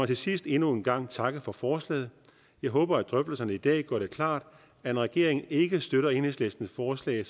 til sidst endnu en gang takke for forslaget jeg håber at drøftelserne i dag gør det klart at når regeringen ikke støtter enhedslistens forslag